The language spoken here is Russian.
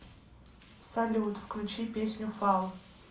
салют включи песню фолл